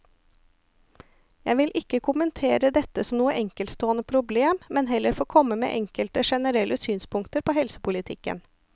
Jeg vil ikke kommentere dette som noe enkeltstående problem, men heller få komme med enkelte generelle synspunkter på helsepolitikken.